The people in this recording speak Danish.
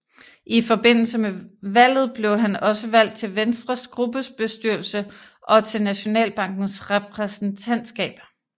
I forbindelse med valget blev han også valgt til Venstres gruppebestyrelse og til Nationalbankens repræsentantskab